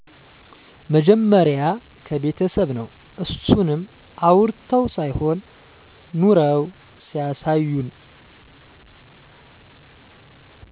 መጀመሪያ ከቤተሰብ ነው አሱንም አዉርተው ሳይሆን ኑረው ሲያሳዩን